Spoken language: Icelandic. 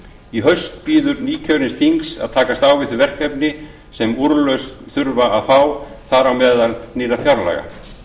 í haust bíður nýkjörins þings að takast á við þau verkefni sem úrlausn þurfa að fá þar á meðal nýrra fjárlaga